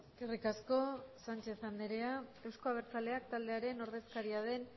eskerrik asko sánchez andrea euzko abertzaleak taldearen ordezkaria den